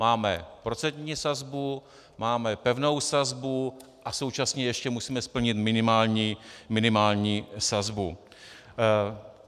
Máme procentní sazbu, máme pevnou sazbu a současně ještě musíme splnit minimální sazbu.